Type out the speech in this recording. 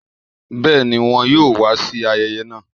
bẹẹni wọn yo wa sí ayẹyẹ náà